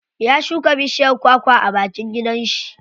Ya shuka bishiyar kwa kwa a bakin gidan shi.